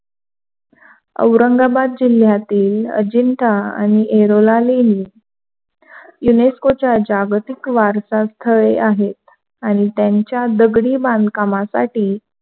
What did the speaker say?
औरंगाबाद जिल्ह्यातीलअजिंठा आणि एरोला लेणी या युनेस्कोच्या जागतिक वारसा स्थळी आहे. आणि त्यांच्या दगडी बांधकामासाठी